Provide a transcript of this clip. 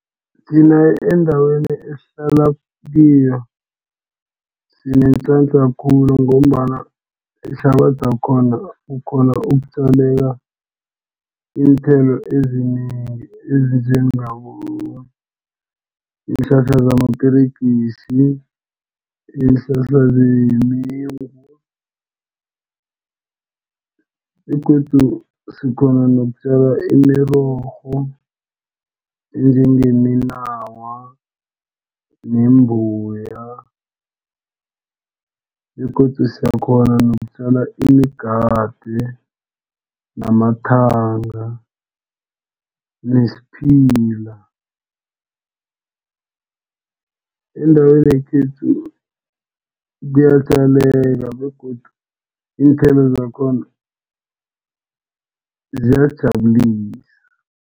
Thina endaweni esihlala kiyo sinenhlanhla khulu ngombana ihlabathi yakhona ukghona ukutjalela iinthelo ezinengi. Ezinjengabo iinhlahla zamaperegisi, iinhlahla zemengu begodu sikghona nokutjala imirorho enjengeminawa nembuya begodu siyakghona nokutjala imigade, namathanga nesiphila. Endaweni yekhethu kuyatjaleka begodu iinthelo zakhona ziyajabulisa.